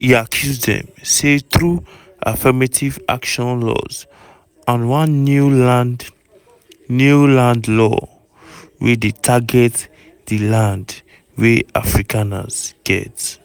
e accuse dem say na through affirmative action laws and one new land new land law wey dey target di land wey afrikaners get.